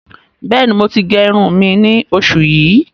Bẹ́ẹ̀ni, mo ti gé irùn mi ní oṣù yìí.